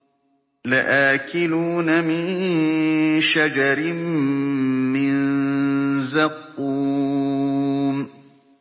لَآكِلُونَ مِن شَجَرٍ مِّن زَقُّومٍ